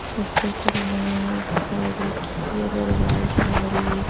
इस क्षेत्र में एक साड़ी की अग्रवाल साड़ी--